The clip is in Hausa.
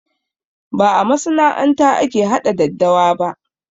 Ba a masana'anta ake haɗa daddawa ba